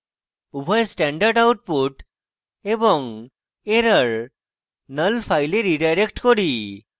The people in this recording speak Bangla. উভয় standard output এবং error নল file রীডাইরেক্ট করি